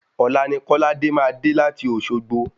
Òla ni kóláde máa dé láti Òsogbo